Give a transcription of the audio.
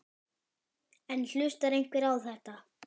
En hlustar einhver á þetta?